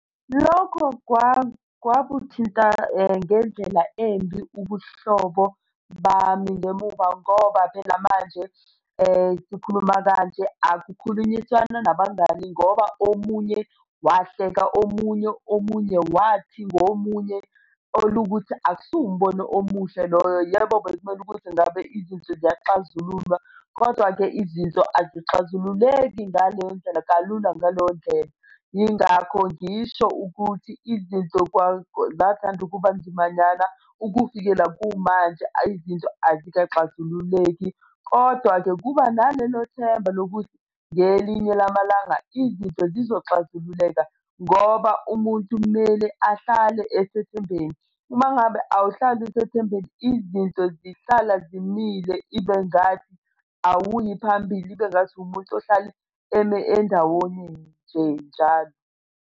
Lokho kwakuthinta ngendlela embi ubuhlobo bami ngemuva ngoba phela manje sikhuluma kanje akukhulunyiswana nabangani ngoba omunye wahleka omunye, omunye wathi ngomunye olukuthi akusiwo umbono omuhle loyo. Yebo bekumele ukuthi ngabe izinto ziyaxazululwa, kodwa-ke izinto azixazululeki ngale ndlela kalula ngaleyo ndlela. Yingakho ngisho ukuthi izinto zathanda ukuba nzimanyana ukuvikela kumanje izinto azixazululeki. Kodwa-ke kuba nalelo themba lokuthi ngelinye lamalanga izinto zizoxazululeka ngoba umuntu kumele ahlale esethembeni. Uma ngabe awuhlali usethembeni, izinto zihlala zimile ibengathi, awuyi phambili ibengathi, uwumuntu ohlale eme endawonye nje njalo.